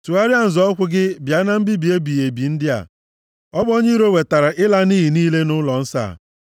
Tụgharịa nzọ ụkwụ gị bịa na mbibi ebighị ebi ndị a. Ọ bụ onye iro wetara ịla nʼiyi a niile nʼụlọnsọ a.